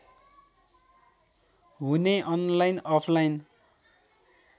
हुने online offline